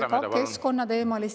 Kordamööda, palun!